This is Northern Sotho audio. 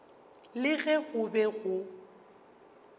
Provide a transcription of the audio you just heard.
le ge go be go